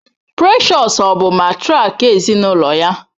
Precious ọ bụ matrịak ezinụlọ ya?